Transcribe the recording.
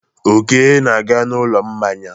Oke na-aga n'ụlọ mmanya.